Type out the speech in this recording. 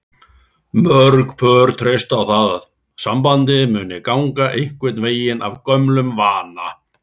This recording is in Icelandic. Mörg pör treysta á að sambandið muni ganga einhvern veginn af gömlum vana.